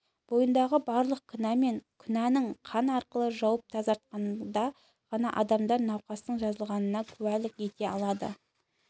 бойындағы барлық кінә мен күнәні қан арқылы жуып тазартқанда ғана адамдар науқастың жазылғанына куәлік ете алады